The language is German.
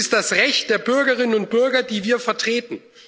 Es ist das Recht der Bürgerinnen und Bürger, die wir vertreten.